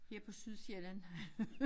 Her på Sydsjælland